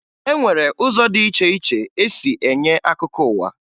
E nwere ụzọ dị iche iche e si enye akụkọ ụwa